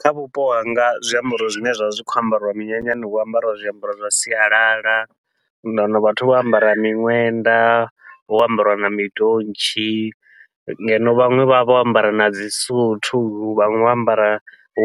Kha vhupo hanga zwiambaro zwine zwa vha zwi khou ambariwa minyanyani hu ambariwa zwiambaro zwa sialala, niḓo wana vhathu vho ambara miṅwenda vho ambariwa na mindontshi ngeno vhaṅwe vha vha vho ambara nadzi suthu, vhaṅwe vho ambara